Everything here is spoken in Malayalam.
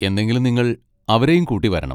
എന്നെങ്കിലും നിങ്ങൾ അവരെയും കൂട്ടി വരണം.